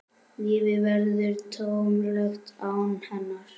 Lífið verður tómlegt án hennar.